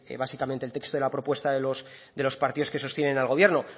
básicamente el texto de la propuesta de los partidos que sostienen al gobierno